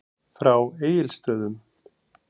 Frá Egilsstöðum.